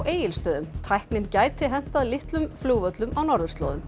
Egilsstöðum tæknin gæti hentað litlum flugvöllum á norðurslóðum